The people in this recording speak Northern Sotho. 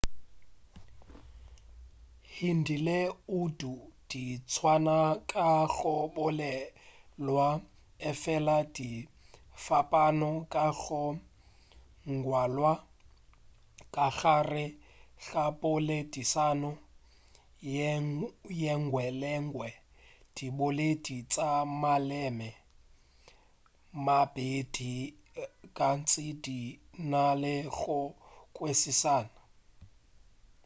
hindi le urdu di tswana ka go bolelwa efela di fapana ka go ngwalwa ka gare ga poledišano yengwe le yengwe diboledi tša maleme a a mabedi gantši di na le go kwešišana